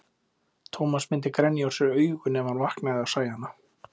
Tómas myndi grenja úr sér augun ef hann vaknaði og sæi hana.